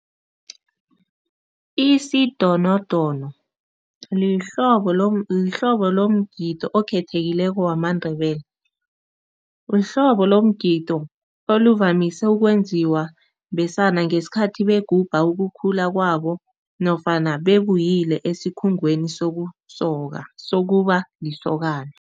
Isidonodono lihlobo lomgidi okhethekileko wamaNdebele. Lihlobo lomgido oluvamise ukwenziwa besana ngesikhathi begubha ukukhula kwabo nofana babuyile esikhungweni sokusokwa, sokuba lisokana.